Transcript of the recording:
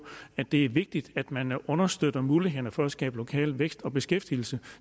at det er vigtigt at man understøtter mulighederne for at skabe lokal vækst og beskæftigelse